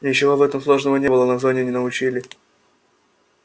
ничего в этом сложного не было на зоне не научили